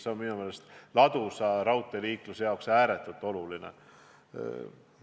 See on minu meelest ladusa raudteeliikluse jaoks ääretult oluline.